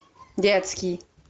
детский